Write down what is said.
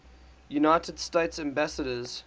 united states ambassadors